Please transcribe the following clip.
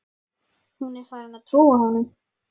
Hún er farin að trúa honum.